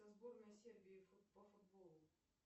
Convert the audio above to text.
сборная сербии по футболу